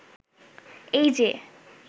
এই যে